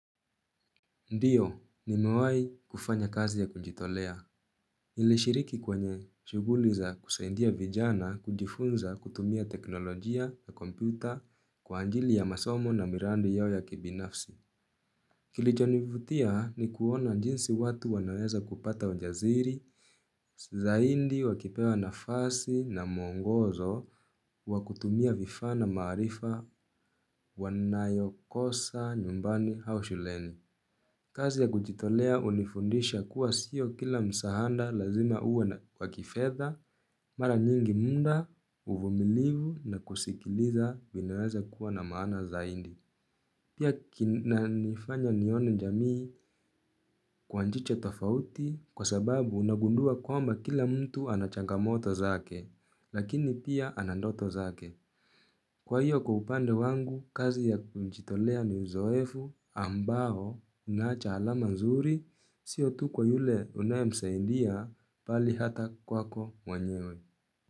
Ndiyo, nimewai, kufanya kazi ya kujitolea. Nilishiriki kwenye, shughuli za kusaidia vijana, kujifunza kutumia teknolojia na kompyuta kwa anjili ya masomo na mirandi yao ya kibinafsi. Kilichonivutia ni kuona jinsi watu wanaweza kupata ujaziri, zaindi wakipewa nafasi na mwongozo, wakutumia vifaa na maarifa wanayokosa nyumbani hau shuleni. Kazi ya kujitolea unifundisha kuwa siyo kila msahanda lazima uwe na kwa kifedha, mara nyingi mnda, uvumilivu na kusikiliza, vinaweza kuwa na maana zaindi. Pia kin nanifanya nione jamii kwa njicho tofauti kwa sababu unagundua kwamba kila mtu anachangamoto zake, lakini pia ana ndoto zake. Kwa hiyo kwa upande wangu, kazi ya mchitolea ni uzoefu ambaho unaacha alama mzuri, sio tu kwa yule unayemsaindia, pali hata kwako mwenyewe.